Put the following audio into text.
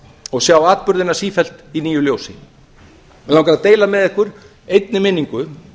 og sjá atburðina sífellt í nýju ljósi mig langar að deila með ykkur einni minningu